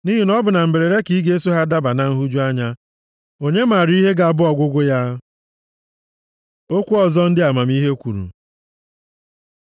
Nʼihi na ọ bụ na mberede ka ị ga-eso ha daba na nhụju anya. Onye maara ihe ga-abụ ọgwụgwụ ya? Okwu ọzọ ndị amamihe kwuru